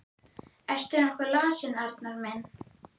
Ertu nokkuð lasinn, Arnar minn?